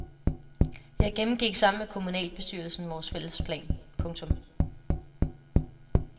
Jeg gennemgik sammen med kommunalbestyrelsen vores fælles plan. punktum